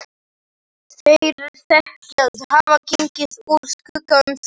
Þeir þykjast hafa gengið úr skugga um það.